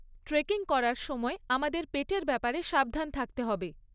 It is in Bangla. ট্রেকিং করার সময় আমাদের পেটের ব্যাপারে সাবধান থাকতে হবে।